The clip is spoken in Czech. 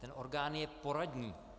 Ten orgán je poradní.